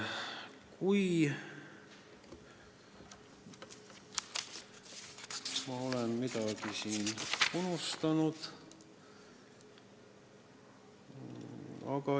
Kas ma olen midagi unustanud?